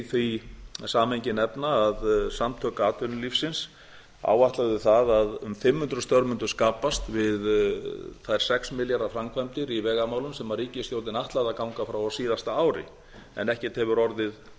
því samhengi nefna að samtök atvinnulífsins áætluðu að um fimm hundruð störf mundu skapast við þær sex milljarða framkvæmdir í vegamálum sem ríkisstjórnin ætlaði að ganga frá á síðasta ári en ekkert hefur